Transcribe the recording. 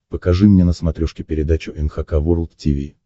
покажи мне на смотрешке передачу эн эйч кей волд ти ви